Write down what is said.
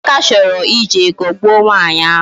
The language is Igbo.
Emeka chọrọ ije ghọgbuo nwaanyị ahụ